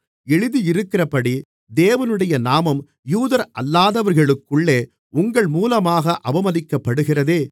எழுதியிருக்கிறபடி தேவனுடைய நாமம் யூதரல்லாதவர்களுக்குள்ளே உங்கள் மூலமாக அவமதிக்கப்படுகிறதே